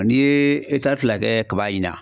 N'i ye fila kɛ kaba ɲinan